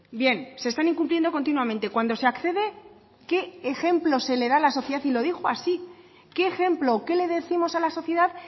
bien se están incumpliendo continuamente cuando se accede qué ejemplo se le da a la sociedad y lo dijo así qué ejemplo qué le décimos a la sociedad